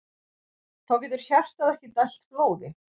Þá getur hjartað ekki dælt blóði.